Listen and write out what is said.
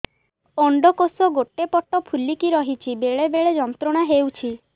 ଅଣ୍ଡକୋଷ ଗୋଟେ ପଟ ଫୁଲିକି ରହଛି ବେଳେ ବେଳେ ଯନ୍ତ୍ରଣା ହେଉଛି